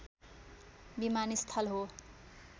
विमानस्थल हो